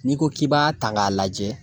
N'i ko k'i b'a ta k'a lajɛ